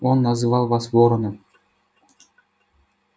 он называл вас вороном